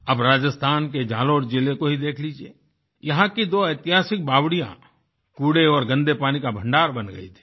अब राजस्थान के झालोर जिले को ही देख लीजिये यहां की दो ऐतिहासिक बावड़िया कूड़े औरगन्दे पानीका भण्डार बन गयी थी